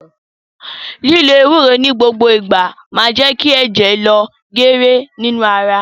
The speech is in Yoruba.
Lílo Ewúró ni gbogbo ìgbà máa je kí ẹ̀jẹ̀ lọ geere nínú ara